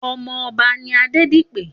Òmò òbá ni Adedipe